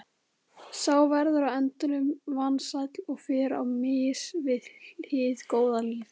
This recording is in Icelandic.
Sá verður á endanum vansæll og fer á mis við hið góða líf.